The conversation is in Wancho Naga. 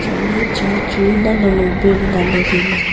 atle chair chu nal long long pe nyu dale taile.